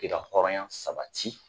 K'i ka hɔrɔnya sabati